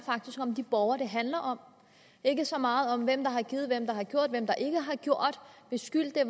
om de borgere det handler om og ikke så meget om hvem der har givet hvem der har gjort hvem der ikke har gjort hvis skyld det